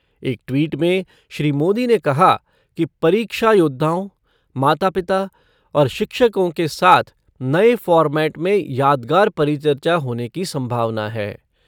एक ट्वीट में श्री मोदी ने कहा कि परीक्षा योद्धाओं, माता पिता और शिक्षकों के साथ नये फ़ॉर्मेट में यादगार परिचर्चा होने की संभावना है।